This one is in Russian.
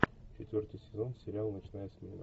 четвертый сезон сериал ночная смена